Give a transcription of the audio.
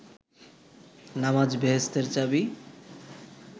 নামাজ বেহেস্তের চাবি